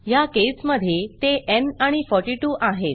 ह्या केसमधे ते न् आणि 42 आहेत